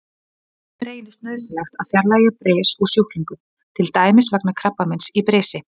Stundum reynist nauðsynlegt að fjarlægja bris úr sjúklingum, til dæmis vegna krabbameins í brisi.